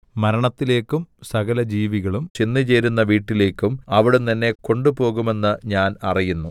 മരണത്തിലേക്കും സകലജീവികളും ചെന്നുചേരുന്ന വീട്ടിലേക്കും അവിടുന്ന് എന്നെ കൊണ്ടുപോകുമെന്ന് ഞാൻ അറിയുന്നു